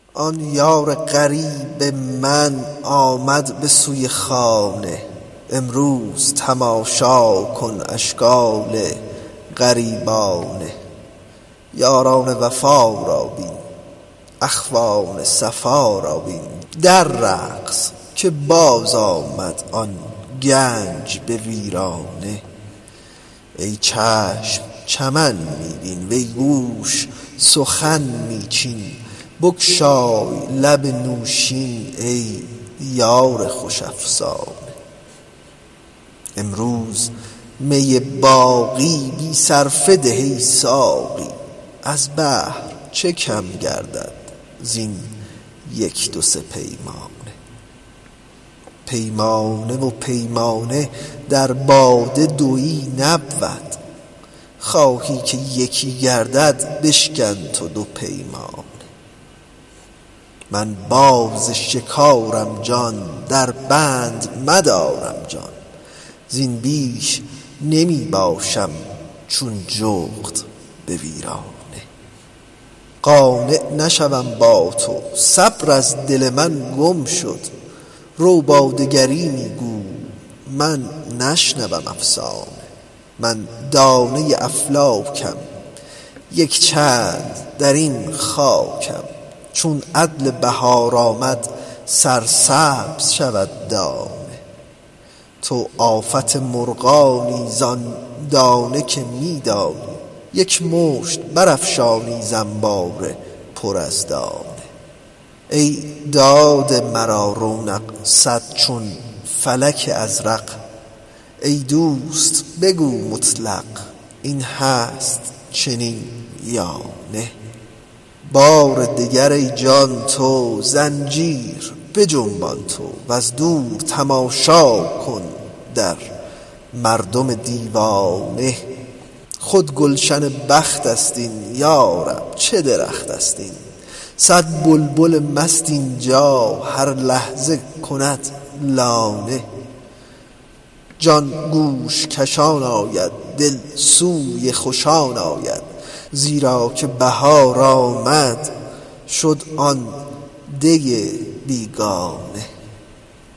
آن یار غریب من آمد به سوی خانه امروز تماشا کن اشکال غریبانه یاران وفا را بین اخوان صفا را بین در رقص که بازآمد آن گنج به ویرانه ای چشم چمن می بین وی گوش سخن می چین بگشای لب نوشین ای یار خوش افسانه امروز می باقی بی صرفه ده ای ساقی از بحر چه کم گردد زین یک دو سه پیمانه پیمانه و پیمانه در باده دوی نبود خواهی که یکی گردد بشکن تو دو پیمانه من باز شکارم جان دربند مدارم جان زین بیش نمی باشم چون جغد به ویرانه قانع نشوم با تو صبر از دل من گم شد رو با دگری می گو من نشنوم افسانه من دانه افلاکم یک چند در این خاکم چون عدل بهار آمد سرسبز شود دانه تو آفت مرغانی زان دانه که می دانی یک مشت برافشانی ز انبار پر از دانه ای داده مرا رونق صد چون فلک ازرق ای دوست بگو مطلق این هست چنین یا نه بار دگر ای جان تو زنجیر بجنبان تو وز دور تماشا کن در مردم دیوانه خود گلشن بخت است این یا رب چه درخت است این صد بلبل مست این جا هر لحظه کند لانه جان گوش کشان آید دل سوی خوشان آید زیرا که بهار آمد شد آن دی بیگانه